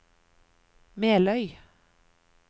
Meløy